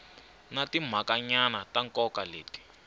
na timhakanyana ta nkoka leti